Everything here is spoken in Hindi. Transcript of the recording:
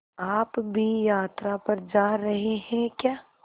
आप भी यात्रा पर जा रहे हैं क्या